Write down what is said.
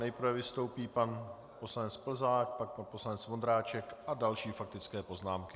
Nejprve vystoupí pan poslanec Plzák, pak pan poslanec Vondráček a další faktické poznámky.